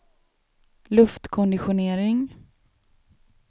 luftkonditionering